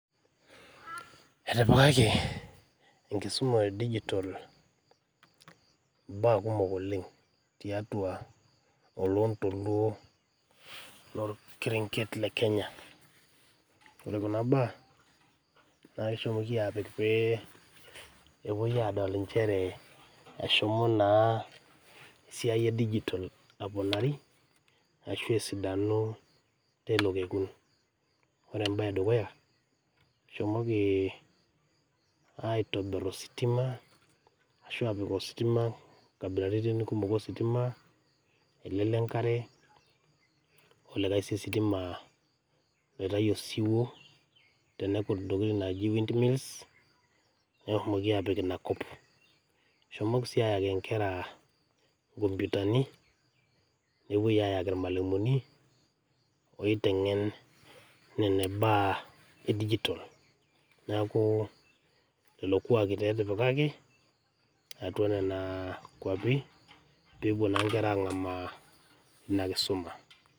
Etipikaki enkisuma e dijitol imbaa kumok oleng tiatua olontoluo lo ilkirenget le Kenya. O re kuna baa, naa keshoki aapik pee epoi adol inchere eshomo naa siai e dijitol aponari ashu asidanu teilo kokun, ore embaye e dukuya, eshomoki aitobir ositima ashu aapik ositima nkabilaritin kumok ositima, ale le enkare olikai sii sitima aoitayu esiwuo tenekut ntokitin naaji wind wheels neshomoki aapik inia kop. Eshomoki sii aayaki inkera nkomputani, nepoi ayaki ilmwalumuni oitengen nena baa e dijitol, naaku lelo kuak taa etipikaki atua nena kwapi pepo naa inkera angamaa ina enkisuma.